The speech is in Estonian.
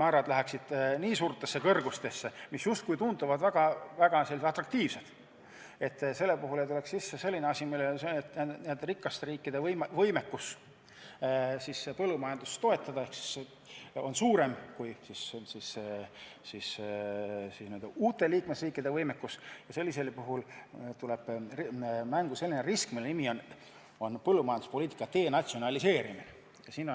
määrad ulatuvad väga suurtesse kõrgustesse, mis tunduvad justkui hästi atraktiivsed, siis ei tekiks sellist asja, et rikaste riikide võimekus põllumajandust toetada on suurem kui uute liikmesriikide võimekus, sest sellisel juhul tuleb mängu põllumajanduspoliitika denatsionaliseerimise risk.